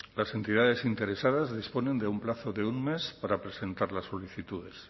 las entidades interesadas disponen de un plazo de un mes para presentar las solicitudes